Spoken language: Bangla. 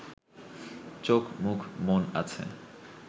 চোখ-মুখ-মন আছে